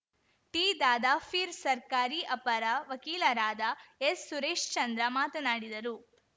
ಟಿದಾದಾಪೀರ್‌ ಸರ್ಕಾರಿ ಅಪರ ವಕೀಲರಾದ ಎಸ್‌ಸುರೇಶ್‌ಚಂದ್ರ ಮಾತನಾಡಿದರು